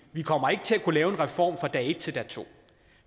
vi kommer ikke til at kunne lave en reform fra dag et til dag to